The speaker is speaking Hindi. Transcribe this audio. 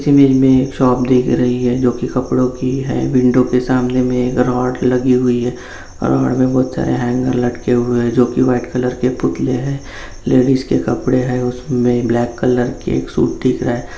इस इमेज में एक शॉप दिख रही है जो कि कपड़ों की है विंडो के सामने मे एक रॉड लगी हुई है रॉड में बहुत सारे हैंगर लटके हुए है जो की वाइट कलर के पुतले है लेडीज के कपड़े है उसमें ब्लैक कलर का एक सूट दिख रहा है।